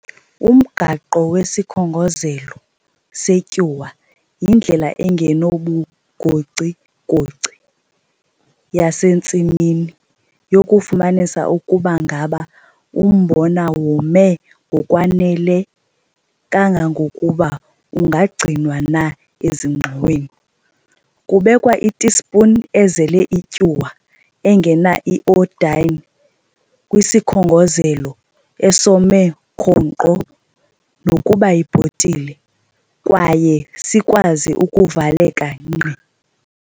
Umgaqo wesiKhongozelo seTyuwa yindlela engenabugocigoci yasentsimini yokufumanisa ukuba ngaba umbona wome ngokwanele kangangokuba ungagcinwa na ezingxoweni. Kubekwa itisipuni ezele ityuwa engena-iodine kwisikhongozelo esome khonkqo, nokuba yibhotile, kwaye sikwazi ukuvaleka nkqi.